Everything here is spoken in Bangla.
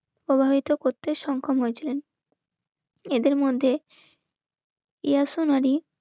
প্রভাবিত করতে সক্ষম হয়েছিলেন. এদের মধ্যে ইয়ারফানারি